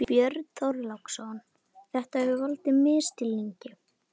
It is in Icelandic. Björn Þorláksson: Þetta hefur valdið misskilningi?